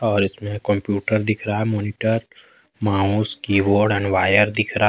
और इसमें कंप्यूटर दिख रहा है। Monitor mouse keyboard and wire दिख रहा--